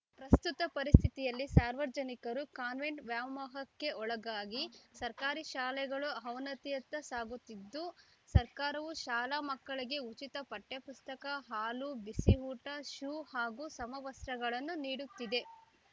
ಪ್ರಸ್ತುತ ಪರಿಸ್ಥಿತಿಯಲ್ಲಿ ಸಾರ್ವಜನಿಕರು ಕಾನ್ವೆಂಟ್ ವ್ಯಾಮೋಹಕ್ಕೆ ಒಳಗಾಗಿ ಸರ್ಕಾರಿ ಶಾಲೆಗಳು ಅವನತಿಯತ್ತ ಸಾಗುತ್ತಿದ್ದು ಸರ್ಕಾರವು ಶಾಲಾ ಮಕ್ಕಳಿಗೆ ಉಚಿತ ಪಠ್ಯಪುಸ್ತಕ ಹಾಲು ಬಿಸಿಯೂಟ ಶೂ ಹಾಗೂ ಸಮವಸ್ತ್ರಗಳನ್ನು ನೀಡುತ್ತಿದೆ